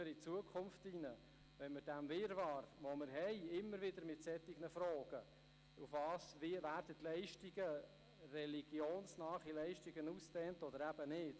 Für die Zukunft: Immer wieder haben wir einen Wirrwarr bei der Frage, ob und wie religionsnahe Leistungen ausgedehnt werden sollen oder nicht.